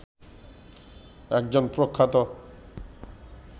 একজন প্রখ্যাত